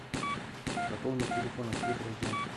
пополнить телефон открыть раздел